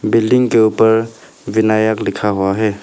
Building के ऊपर विनायक लिखा हुआ है।